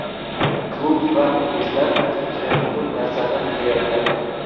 Klub va muxlislar hujumchidan ko‘p narsani kutayotgandi.